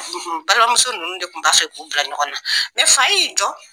Balimamuso ninnu de tun b'a fɛ k'u bila ɲɔgɔn na fa y'i jɔ